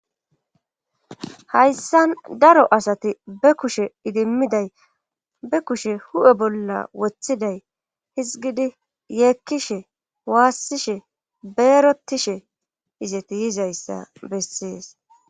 Hayssa daro asati be kushe idimmiday be kushe hu7e bolla wothiday hizgidi yeekkishe waassishe beerotishe izeti yizayssa bessees.